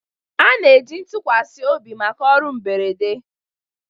A na-eji ntụkwasị obi maka ọrụ mberede.